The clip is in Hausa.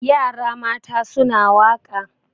yara mata suna wake